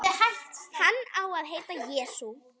Hann á að heita Jesú.